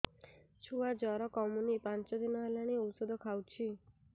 ଛୁଆ ଜର କମୁନି ପାଞ୍ଚ ଦିନ ହେଲାଣି ଔଷଧ ଖାଉଛି